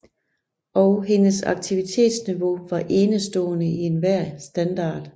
Og hendes aktivitetsniveau var enestående i enhver standard